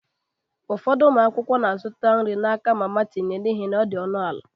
Ụfọdụ ụmụ akwụkwọ na-azụta nri n'aka mama tinye n'ihi na ọ dị ọnụ ala.